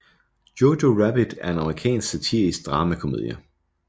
Jojo Rabbit er en amerikansk satirisk dramakomedie